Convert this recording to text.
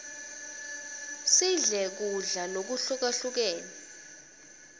sidle kudla lokuhukahlukene